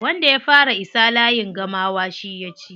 Wanda ya fara isa layin gamawa shi ya ci.